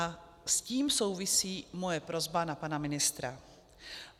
A s tím souvisí moje prosba na pana ministra.